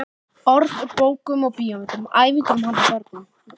Orð úr bókum og bíómyndum, ævintýrum handa börnum.